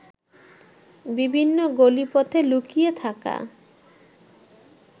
বিভিন্ন গলিপথে লুকিয়ে থাকা